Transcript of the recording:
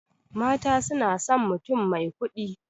Mata sunason mutum mai kuɗi